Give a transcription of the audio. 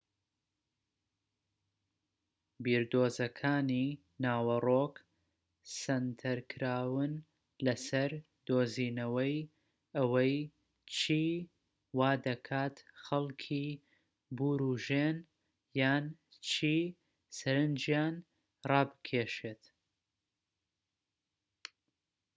بیردۆزەکانی ناوەرۆك سەنتەرکراون لەسەر دۆزینەوەی ئەوەی چی وادەکات خەڵکی بوروژێن یان چی سەرنجیان ڕابکێشێت